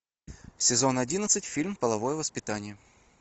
сезон одиннадцать фильм половое воспитание